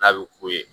N'a bɛ ku ye